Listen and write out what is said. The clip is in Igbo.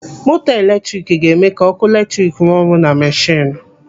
Moto eletrik ga-eme ka ọkụ eletrik rụọ ọrụ na mashinu.